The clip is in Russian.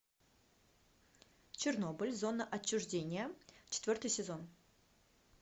чернобыль зона отчуждения четвертый сезон